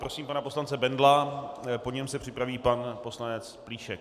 Prosím pana poslance Bendla, po něm se připraví pan poslanec Plíšek.